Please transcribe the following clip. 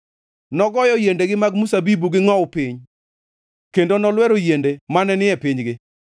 nogoyo yiendegi mag mzabibu gi ngʼowu piny kendo nolwero yiende mane ni e pinygi.